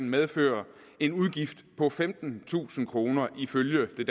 medføre en udgift på femtentusind kroner ifølge